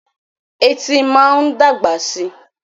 Etí máa ń dàgbà síi.